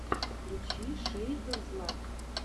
включи шэйдзлат